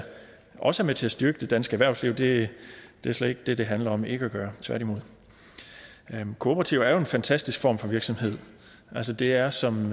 også er med til at styrke det danske erhvervsliv det er slet ikke det det handler om ikke at gøre tværtimod kooperativer er jo en fantastisk form for virksomhed altså det er som